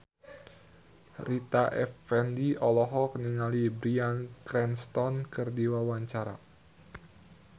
Rita Effendy olohok ningali Bryan Cranston keur diwawancara